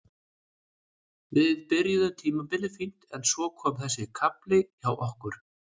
Við byrjuðum tímabilið fínt en svo kom þessi kafli hjá okkur.